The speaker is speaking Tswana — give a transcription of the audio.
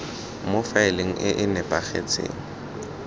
mo faeleng e e nepagetseng